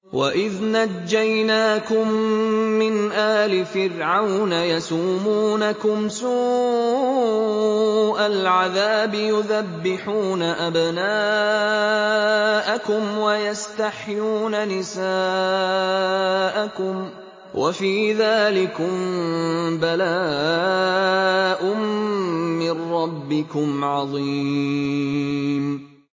وَإِذْ نَجَّيْنَاكُم مِّنْ آلِ فِرْعَوْنَ يَسُومُونَكُمْ سُوءَ الْعَذَابِ يُذَبِّحُونَ أَبْنَاءَكُمْ وَيَسْتَحْيُونَ نِسَاءَكُمْ ۚ وَفِي ذَٰلِكُم بَلَاءٌ مِّن رَّبِّكُمْ عَظِيمٌ